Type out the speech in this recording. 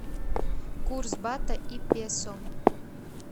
курс бата и песо